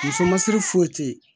Muso masiri foyi te ye